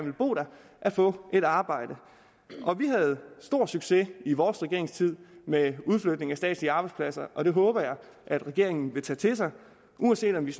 at få et arbejde vi havde stor succes i vores regeringstid med udflytning af statslige arbejdspladser og det håber jeg at regeringen vil tage til sig uanset om det